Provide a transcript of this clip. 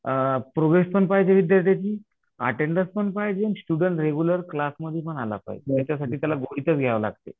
अ progress पण पाहिजे विद्यार्थ्यांची, अटेन्डन्स पण पाहिजे, स्टुडन्ट रेग्युलर क्लासमध्ये पण आला पाहिजे नाहीतर त्याच्यासाठी त्याला घ्यावं लागतंय.